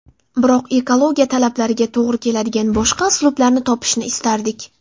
Biroq ekologiya talablariga to‘g‘ri keladigan boshqa uslublarni topishni istardik.